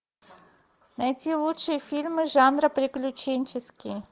найти лучшие фильмы жанра приключенческий